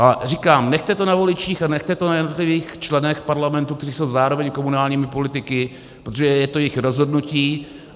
A říkám, nechte to na voličích a nechte to na jednotlivých členech parlamentu, kteří jsou zároveň komunálními politiky, protože je to jejich rozhodnutí.